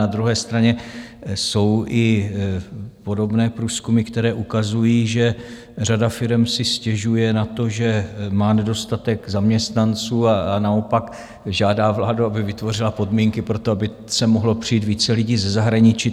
Na druhé straně jsou i podobné průzkumy, které ukazují, že řada firem si stěžuje na to, že má nedostatek zaměstnanců, a naopak žádá vládu, aby vytvořila podmínky pro to, aby sem mohlo přijít více lidí ze zahraničí.